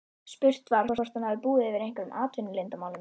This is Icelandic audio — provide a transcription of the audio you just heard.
Spurt var, hvort hann hafi búið yfir einhverjum atvinnuleyndarmálum?